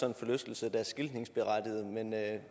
en forlystelse der er skiltningsberettiget men